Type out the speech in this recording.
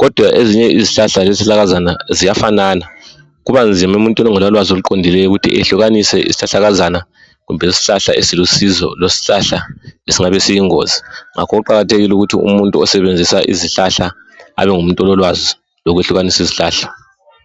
kodwa ezinye izihlahla lezihlahlakazaneni ziyafanana kubanzima emuntwini ongela lwazi. oliqondileyo ukuthi eyehlukanise isihlahla esilusizo lesiyingozi ngakho okuqakathekileyo yikuthi umuntu osebenzisa izihlahla abengumuntu ololwazi lezihlahla